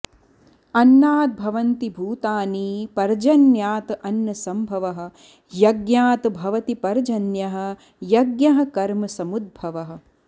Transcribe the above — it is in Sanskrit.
अन्नात् भवन्ति भूतानि पर्जन्यात् अन्नसम्भवः यज्ञात् भवति पर्जन्यः यज्ञः कर्मसमुद्भवः